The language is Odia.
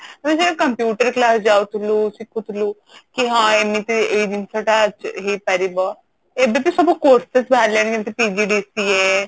ଆମେ ସେ ଯୋଉ computer class ଯାଉଥୁଲୁ ଶିଖୁଥୁଲୁ କି ହଁ ଏମିତି ଏଇ ଜିନିଷ ଟା ହେଇପାରିବ ଏବେ ବି ସବୁ courses ବାହାରିଲାଣି ଯେମତି PGDCA